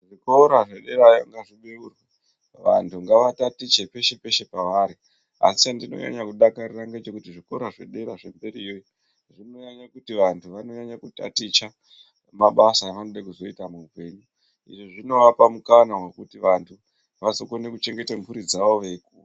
Zvikora zvederayo ngazvibeure vantu ngava tatiche peshe peshe pavari asi ndinonyanya kudakarira ngechekuti zvikora zvedera zvemberiyo zvinonyanya kuti vantu vanonyanya kutaticha mabasa avanoda kuzoita muupenyu izvi zvinovapa mukana wekuti vantu vazokona kuchengeta mhuri dzavo veyikura